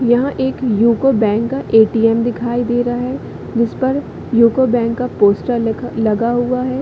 यह एक यूको बैंक का ए.टी.एम. दिखाई दे रहा है जिस पर यूको बैंक का पोस्टर लिखा लगा हुआ है।